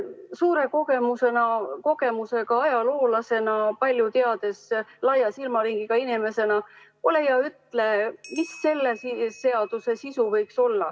Suure kogemusega ajaloolasena, palju teadva, laia silmaringiga inimesena ole hea ja ütle, mis selle seaduseelnõu sisu võiks olla.